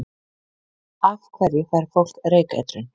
Af hverju fær fólk reykeitrun?